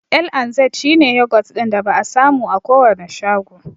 L&Z shi ne yogurt ɗin da ba'a samu a kowane shago.